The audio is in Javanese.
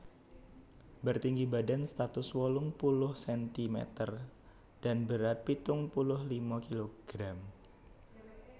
Bertinggi badan satus wolung puluh sentimeter dan berat pitung puluh lima kilogram